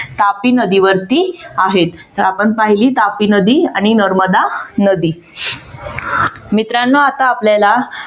तापी नदीवरती आहेत तर आपण पाहिली तापी नदी आणि नर्मदा नदी. मित्रानो आता आपल्याला